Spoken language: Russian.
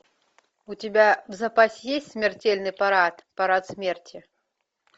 у тебя в запасе есть смертельный парад парад смерти